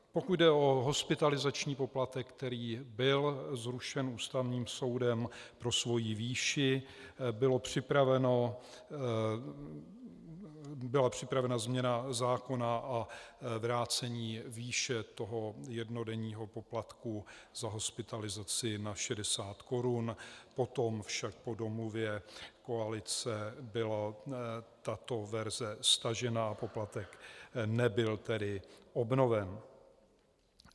Pokud jde o hospitalizační poplatek, který byl zrušen Ústavním soudem pro svoji výši, byla připravena změna zákona a vrácení výše toho jednodenního poplatku za hospitalizace na 60 korun, potom však po domluvě koalice byla tato verze stažena a poplatek nebyl tedy obnoven.